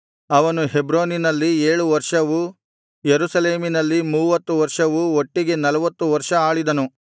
ಅವನು ಹೆಬ್ರೋನಿನಲ್ಲಿ ಏಳು ವರ್ಷವೂ ಯೆರೂಸಲೇಮಿನಲ್ಲಿ ಮೂವತ್ತಮೂರು ವರ್ಷವೂ ಒಟ್ಟಿಗೆ ನಲ್ವತ್ತು ವರ್ಷ ಆಳಿದನು